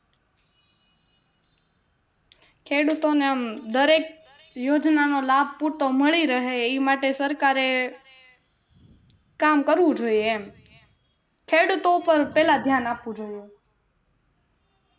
ખેડૂતો ને આમ દરેક યોજના નો લાભ પૂરતો મળી રહે ઈ માટે સરકારે કામ કરવું જોઈએ એમ ખેડૂતો ઉપર પહેલા દયાન આપવું જોઈએ